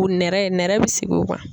O nɛrɛ nɛrɛ bi sigi o kan.